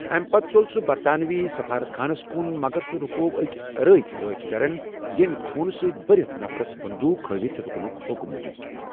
امہِ پتہٕ ژوٚل سُہ برطانوی سِفارَت خانس کُن مگر سُہ رُکوو أکۍ عراقۍ رٲچھ دٔرن ییٚمۍ خونہٕ سۭتۍ بٔرِتھ نفرس بندوق ہٲوِتھ رُکنُک حُکم دیُت۔